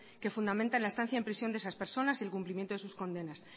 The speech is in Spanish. que fundamenta la estancia en prisión de esas personas y el cumplimiento de sus condenas